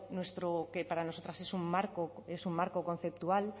que para nosotras es un marco conceptual